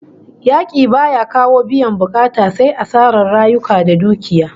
Yaki baya kawo biyan bukata sai asarar rayuka da dukiya